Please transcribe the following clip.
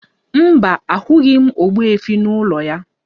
Mba, ahụghị m ogbuefi n'ụlọ ya